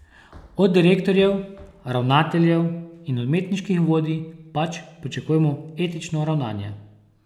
Od direktorjev, ravnateljev in umetniških vodij pač pričakujemo etično ravnanje.